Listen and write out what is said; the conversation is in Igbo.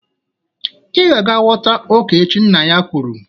Ị ga-aga wọta ọka echi, nna ya kwuru